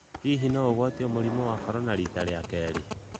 Hĩhĩ no ũgwatĩo mũrĩmũ wa Korona rĩta rĩa keerĩ?